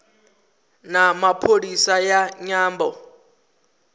na pholisi ya nyambo